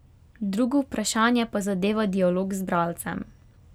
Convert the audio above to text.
Drugo vprašanje pa zadeva dialog z bralcem.